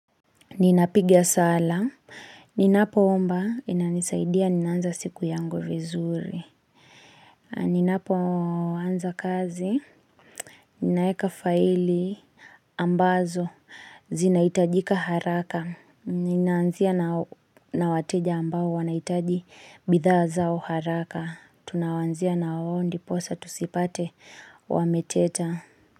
Ninapiga sala. Ninapo omba. Inanisaidia. Nina anza siku yangu vizuri. Ninapo anza kazi. Ninayeka faili ambazo. Zinahitajika haraka. Nina anzia na wateja ambao wanahitaji bidhaa zao haraka. Tunawanzia na wao ndi. Posa tusipate wameteta.